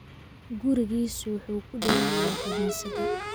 Gurigiisu wuxuu ku dhow yahay kaniisadda